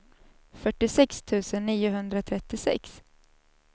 fyrtiosex tusen niohundratrettiosex